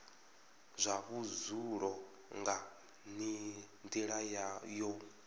zwa vhudzulo nga nila yo